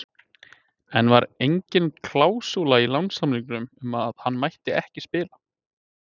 En var engin klásúla í lánssamningnum um að hann mætti ekki spila?